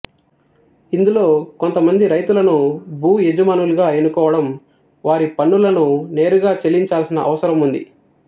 ఇందులో కొంతమంది రైతులను భూ యజమానులుగా ఎన్నుకోవడం వారి పన్నులను నేరుగా చెల్లించాల్సిన అవసరం ఉంది